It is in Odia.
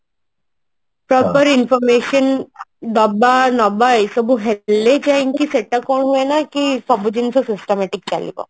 ତାପରେ information ଦବା ନବା ଏସବୁ ହେଲେ ଯାଇଙ୍କି ସେଟା କଣ ହୁଏନା କି ସବୁ ଜିନିଷ systematic ଚାଲିବ